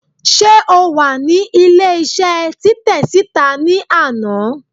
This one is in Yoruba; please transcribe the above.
se o wa ní ilé isé Titẹ sita ni anà?